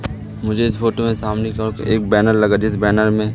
मुझे इस फोटो में सामने की ओर एक बैनर लगा जिस बैनर में--